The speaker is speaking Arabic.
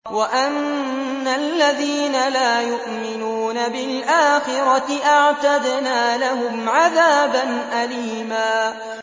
وَأَنَّ الَّذِينَ لَا يُؤْمِنُونَ بِالْآخِرَةِ أَعْتَدْنَا لَهُمْ عَذَابًا أَلِيمًا